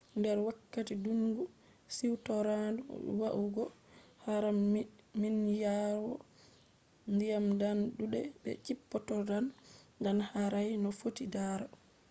nder wakkati ɗungu siwtoraandu yahugo haram minyiraawo diyam ɗan ɗudai be chippotodan ɗan harai no fotti ndaro